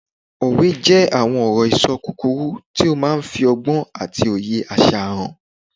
Òwe jẹ́ àwọn ọ̀rọ̀-ìṣọ kúkúrú tó máà ń fi ọgbọ́n àti òye àṣà hàn